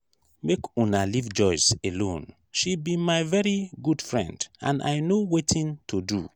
make una leave joyce alone she be my very good friend and i no wetin to do